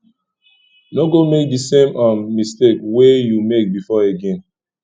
no go make di same um mistake wey you make before again